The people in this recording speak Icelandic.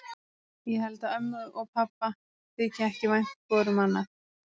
Ég held að ömmu og pabba þyki ekki vænt hvoru um annað.